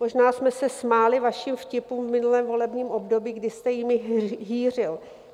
Možná jsme se smáli vašim vtipům v minulém volebním období, kdy jste jimi hýřil.